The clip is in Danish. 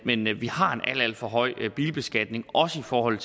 men vi har en alt alt for højt bilbeskatning også i forhold